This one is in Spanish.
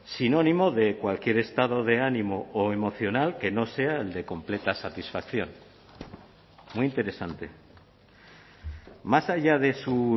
sinónimo de cualquier estado de ánimo o emocional que no sea el de completa satisfacción muy interesante más allá de su